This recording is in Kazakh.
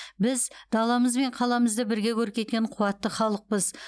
біз даламыз бен қаламызды бірге көркейткен қуатты халықпыз